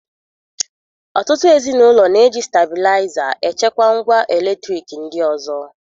Ọtụtụ ezi n'ụlọ na-eji stablaịza e chekwa ngwa eletriki ndị ọzọ